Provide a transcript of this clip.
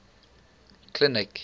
clinic